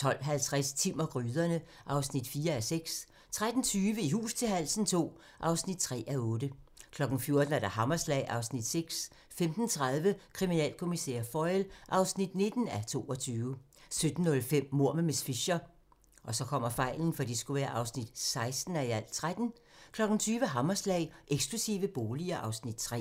12:50: Timm og gryderne (4:6) 13:20: I hus til halsen II (3:8) 14:00: Hammerslag (Afs. 6) 15:30: Kriminalkommissær Foyle (19:22) 17:05: Mord med miss Fisher (16:13) 20:00: Hammerslag - Eksklusive boliger (Afs. 3)